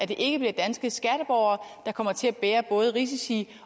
det ikke bliver danske skatteborgere der kommer til at bære både risici